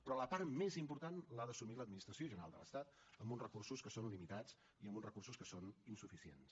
però la part més important l’ha d’assumir l’administració general de l’estat amb uns recursos que són limitats i amb uns recursos que són insuficients